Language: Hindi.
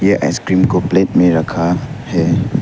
आइसक्रीम को प्लेट में रखा है।